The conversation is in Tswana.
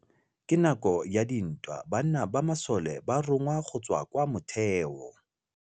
Ka nakô ya dintwa banna ba masole ba rongwa go tswa kwa mothêô.